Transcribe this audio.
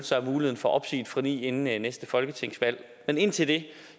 sig af muligheden for at opsige et forlig inden næste folketingsvalg men indtil da